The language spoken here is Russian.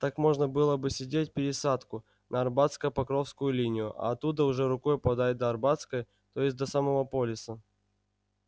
так можно было бы сидеть пересадку на арбатско-покровскую линию а оттуда уже рукой подать до арбатской то есть до самого полиса